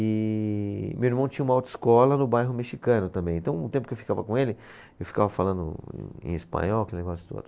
E meu irmão tinha uma autoescola no bairro mexicano também, então o tempo que eu ficava com ele, eu ficava falando em espanhol, aquele negócio todo.